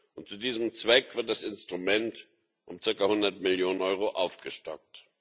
Und zu diesem Zweck wird das Instrument um circa 100 Millionen Euro aufgestockt.